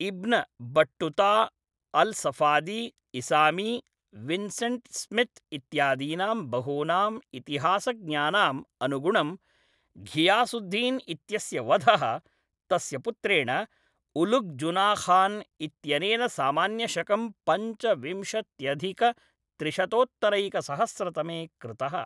इब्न Battuta, Alsafadi, Isami, Vincent Smith इत्यादीनां बहूनां इतिहासज्ञानाम् अनुगुणं घियासुद्दीन् इत्यस्य वधः तस्य पुत्रेण उलुघ् जुना खान् इत्यनेन सामान्यशकं पञ्चविंशत्यधिकत्रिशतोत्तरैकसहस्रतमे कृतः।